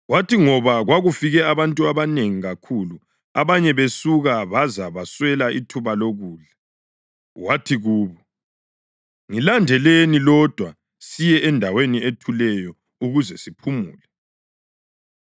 Kwathi ngoba kwakufika abantu abanengi kakhulu abanye besuka baze baswele ithuba lokudla, wathi kubo, “Ngilandelani lodwa siye endaweni ethuleyo ukuze siphumule.”